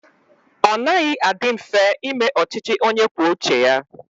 Ọ naghị adị mfe ime ọchịchị onye kwuo uche ya.